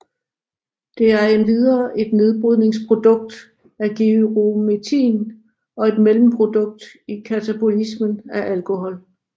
Det er endvidere et nedbrydningsprodukt af gyrometrin og et mellemprodukt i katabolismen af alkohol